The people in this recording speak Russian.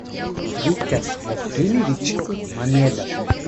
виктор васильевич мамедов